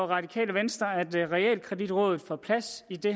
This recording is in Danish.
radikale venstre at realkreditrådet får plads i det